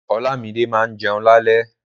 Olámídé ma jẹun lálẹ́.